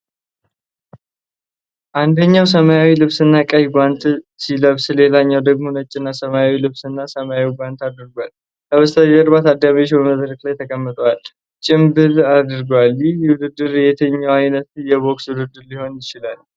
አንደኛው ሰማያዊ ልብስና ቀይ ጓንት ሲለብስ፣ ሌላኛው ደግሞ ነጭና ሰማያዊ ልብስና ሰማያዊ ጓንት አድርጓል። ከበስተጀርባ ታዳሚዎች በመድረክ ላይ ተቀምጠው ጭምብል አድርገዋል። ይህ ውድድር የትኛው ዓይነት የቦክስ ውድድር ሊሆን ይችላል?